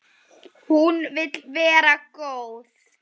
Hún vill vera góð.